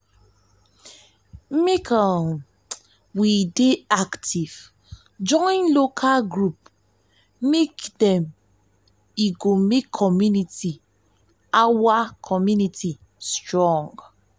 make um we um dey active join local group dem e um go make community our strong